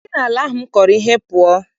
Si n'ala m kọrọ ihe pụọ!